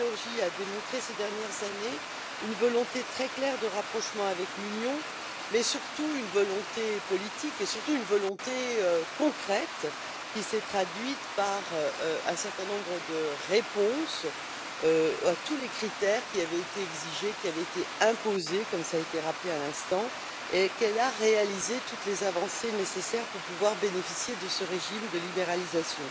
La Géorgie a démontré, ces dernières années, une volonté très claire de rapprochement avec l'Union, une volonté politique mais surtout une volonté concrète, qui s'est traduite par un certain nombre de réponses à tous les critères qui avaient été exigés et imposés, comme cela a été rappelé à l'instant, et qu'elle a réalisé toutes les avancées nécessaires afin de pouvoir bénéficier de ce régime de libéralisation.